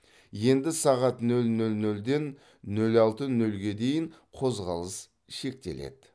енді сағат нөл нөл нөлден нөл алты нөлге дейін қозғалыс шектеледі